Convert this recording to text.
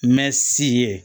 Mɛ si ye